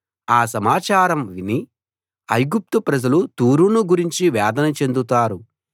ఆ సమాచారం విని ఐగుప్తు ప్రజలు తూరును గురించి వేదన చెందుతారు